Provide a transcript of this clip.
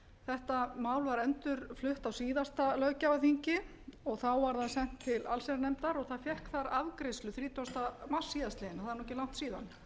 þetta mál var endurflutt á síðasta löggjafarþingi og þá var það sent til allsherjarnefndar og það fékk þar afgreiðslu þrítugasta mars síðastliðinn og það er ekki langt síðan